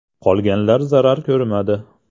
Qolganlar zarar ko‘rmadi.